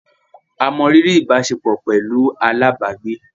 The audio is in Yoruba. A mọ riri ìbáṣepọ̀ pẹlú alábàágbé